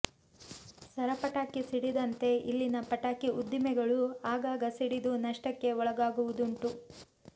ಸರಪಟಾಕಿ ಸಿಡಿದಂತೆ ಇಲ್ಲಿನ ಪಟಾಕಿ ಉದ್ದಿಮೆಗಳೂ ಆಗಾಗ ಸಿಡಿದು ನಷ್ಟಕ್ಕೆ ಒಳಗಾಗುವುದುಂಟು